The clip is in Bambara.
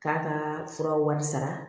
K'a ka fura wari sara